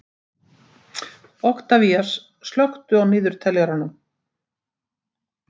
Oktavías, slökktu á niðurteljaranum.